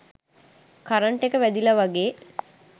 current එක වැදිලා වගේ